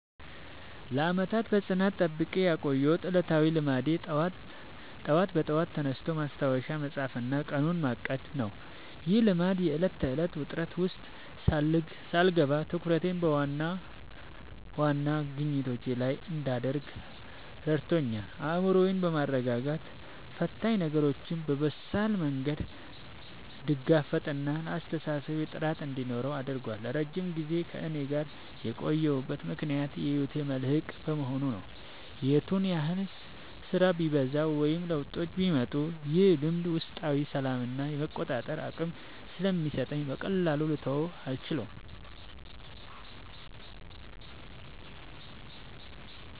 ለዓመታት በጽናት ጠብቄ ያቆየሁት ዕለታዊ ልማዴ ጠዋት በጠዋት ተነስቶ ማስታወሻ መጻፍና ቀኑን ማቀድ ነው። ይህ ልማድ የዕለት ተዕለት ውጥረት ውስጥ ሳልገባ ትኩረቴን በዋና ዋና ግቦቼ ላይ እንድታደርግ ረድቶኛል። አእምሮዬን በማረጋጋት ፈታኝ ነገሮችን በበሳል መንገድ እንድጋፈጥና ለአስተሳሰቤ ጥራት እንዲኖረው አድርጓል። ለረጅም ጊዜ ከእኔ ጋር የቆየበት ምክንያት የህይወቴ መልህቅ በመሆኑ ነው። የቱንም ያህል ስራ ቢበዛ ወይም ለውጦች ቢመጡ፣ ይህ ልማድ ውስጣዊ ሰላምና የመቆጣጠር አቅም ስለሚሰጠኝ በቀላሉ ልተወው አልቻልኩም።